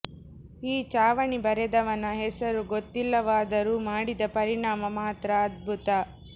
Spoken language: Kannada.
ಈ ಲಾವಣಿ ಬರೆದವನ ಹೆಸರು ಗೊತ್ತಿಲ್ಲವಾದರೂ ಮಾಡಿದ ಪರಿಣಾಮ ಮಾತ್ರ ಅದ್ಭುತ